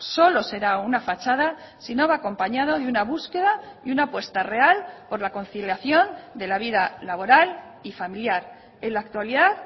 solo será una fachada si no va acompañado de una búsqueda y una apuesta real por la conciliación de la vida laboral y familiar en la actualidad